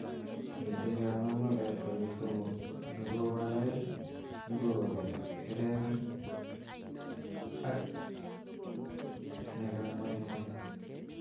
Miten kangolgolet konyil somok, nekowo lain, nekowa kebeber ak nekangwalngwal.